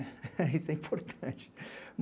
Isso é importante.